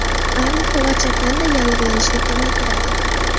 Arnika va chakanda yallig‘lanishni kamaytiradi.